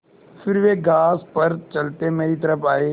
फिर वे घास पर चलते मेरी तरफ़ आये